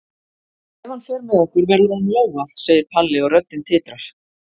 En ef hann fer með okkur verður honum lógað, segir Palli og röddin titrar.